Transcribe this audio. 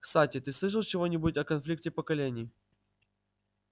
кстати ты слышал чего-нибудь о конфликте поколений